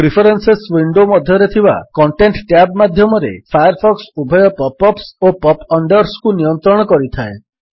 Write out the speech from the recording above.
preferences window ମଧ୍ୟରେ ଥିବା content tab ମାଧ୍ୟମରେ ଫାୟାରଫକ୍ସ ଉଭୟ ପପ୍ ଅପ୍ସ ଓ ପପ୍ ଅଣ୍ଡର୍ସରୁ ନିୟନ୍ତ୍ରଣ କରିଥାଏ